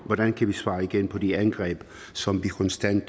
hvordan kan vi svare igen på de angreb som vi konstant